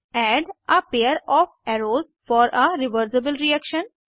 add a pair of arrows for a reversible reaction